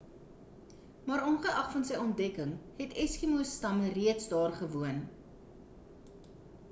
maar ongeag van sy ontdekking het eskimo stamme reeds daar gewoon